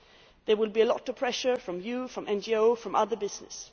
There will be a lot of pressure from you, from NGOs and from other business.